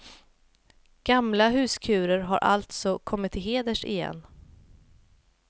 Gamla huskurer har alltså kommit till heders igen.